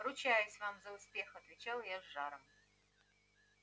ручаюсь вам за успех отвечал я с жаром